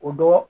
O dɔn